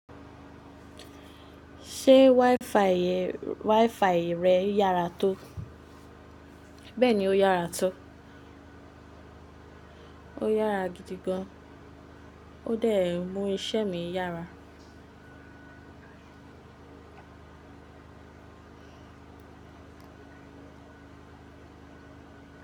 Ṣé WiFi rẹ yára tó? Bẹ́ẹ̀ni, ó yára tó. Ó yára gidi gan. Ó dẹ̀ mú iṣẹ́ mi yára.